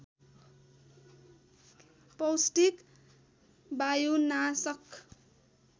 पौष्टिक वायुनाशक